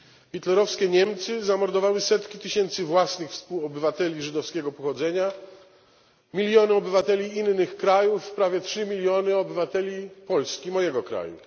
Hitlerowskie Niemcy zamordowały setki tysięcy własnych współobywateli żydowskiego pochodzenia, miliony obywateli innych krajów, prawie 3 miliony obywateli Polski, mojego kraju.